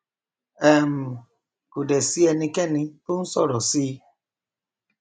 um kò dẹ sí ẹnikẹni tó nsọrọ síi